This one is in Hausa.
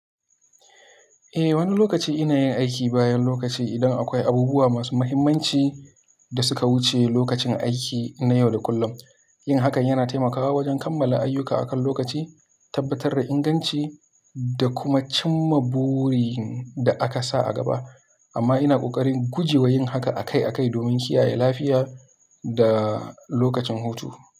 Eh, wani lokaci inayin aiki bayan lokaci idan akwai abubuwa masu mahimmanci da suka wuce lokacin aiki nayau da kullum. Yin hakan yana taimakawa wajen kammala ayyuka akan lokaci, tabbatar da inganci, da kuma cimma burin da aka sa a gaba. Amma ina ƙoƙarin gujewa yin haka akai-akai domin kiyaye lafiya da lokacin hutu.